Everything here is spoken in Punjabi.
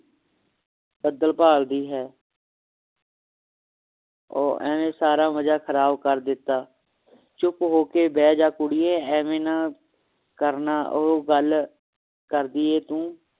ਬੱਦਲ ਭਾਲਦੀ ਹੈ ਉਹ ਐਵੇਂ ਸਾਰਾ ਮਜਾ ਖਰਾਬ ਕਰ ਦਿੱਤਾ ਚੁੱਪ ਹੋ ਕੇ ਬਹਿ ਜਾ ਕੁੜੀਏ ਐਵੇ ਨਾ ਕਰ ਨਾ ਉਹ ਗੱਲ ਕਰਦੀ ਹੈ ਤੂੰ